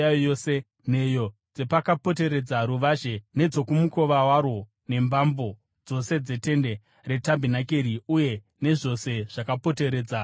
nheyo dzepakapoteredza ruvazhe nedzomukova warwo nembambo dzose dzetende retabhenakeri uye nezvose zvakapoteredza ruvazhe.